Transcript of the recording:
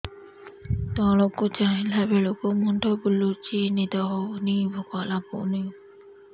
ତଳକୁ ଚାହିଁଲା ବେଳକୁ ମୁଣ୍ଡ ବୁଲୁଚି ନିଦ ହଉନି ଭୁକ ଲାଗୁନି